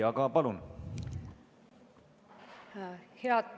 Aga palun!